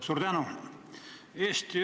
Suur tänu!